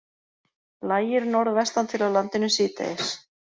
Lægir norðvestan til á landinu síðdegis